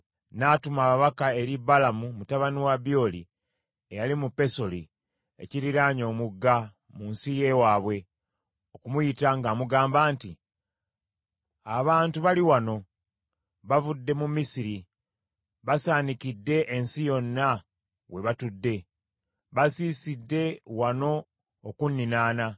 n’atuma ababaka eri Balamu mutabani wa Byoli, eyali mu Pesoli, ekiriraanye Omugga, mu nsi y’ewaabwe, okumuyita ng’amugamba nti, “Abantu bali wano, baavudde mu Misiri, basaanikidde ensi yonna we batudde; basiisidde wano okunninaana.